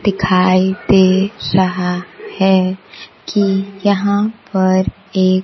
दिखाई दे रहा है कि यहां पर एक --